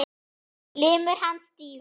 Limur hans stífur.